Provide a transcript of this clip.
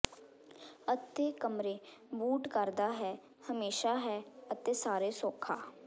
ਅਤੇ ਕਮਰੇ ਬੂਟ ਕਰਦਾ ਹੈ ਹਮੇਸ਼ਾ ਹੈ ਅਤੇ ਸਾਰੇ ਸੌਖਾ